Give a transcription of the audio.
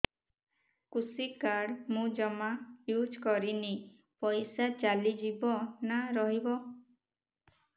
କୃଷି କାର୍ଡ ମୁଁ ଜମା ୟୁଜ଼ କରିନି ପଇସା ଚାଲିଯିବ ନା ରହିବ